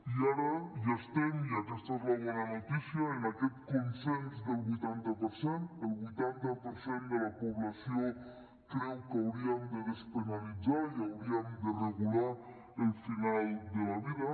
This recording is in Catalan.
i ara ja estem i aquesta és la bona notícia en aquest consens del vuitanta per cent el vuitanta per cent de la població creu que hauríem de despenalitzar i hauríem de regular el final de la vida